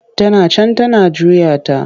Tana can tana juya ta.